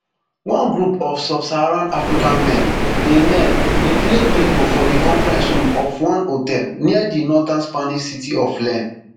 one group of subsaharan african men dey men dey play bingo for di conference room of one hotel near di northern spanish city of len